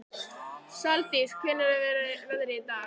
Saldís, hvernig er veðrið í dag?